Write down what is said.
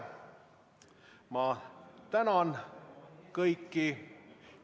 Ma tänan kõiki.